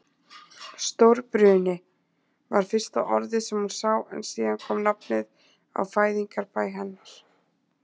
Stórbruni. var fyrsta orðið sem hún sá en síðan kom nafnið á fæðingarbæ hennar.